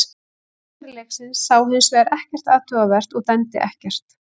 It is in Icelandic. Dómari leiksins sá hins vegar ekkert athugavert og dæmdi ekkert.